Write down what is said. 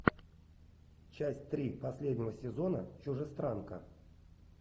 часть три последнего сезона чужестранка